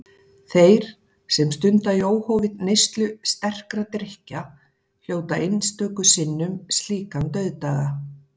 Þeir, sem stunda í óhófi neyslu sterkra drykkja, hljóta einstöku sinnum slíkan dauðdaga.